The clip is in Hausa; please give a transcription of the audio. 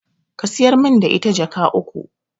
Ka siyar min da ita Jaka uku